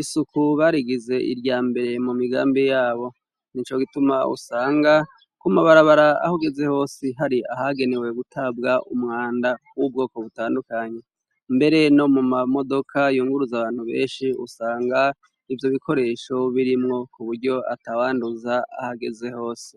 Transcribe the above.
isuku barigize irya mbere mu migambi yabo, nico gituma usanga ko mabarabara aho ugeze hose hari ahagenewe gutabwa umwanda w'ubwoko butandukanye, mbere no mu ma modoka yunguruza abantu benshi, usanga ivyo bikoresho birimwo, ku buryo atawanduza aho ageze hose.